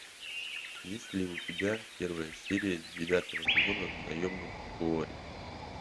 есть ли у тебя первая серия девятого сезона наемник куорри